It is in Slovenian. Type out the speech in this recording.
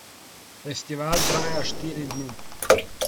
Festival traja štiri dni.